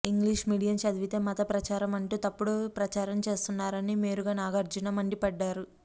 English medium చదివితే మత ప్రచారం అంటూ తప్పుడు ప్రచారం చేస్తున్నారని మేరుగ నాగార్జున మండిపడ్డారు